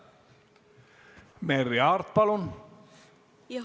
Merry Aart, palun!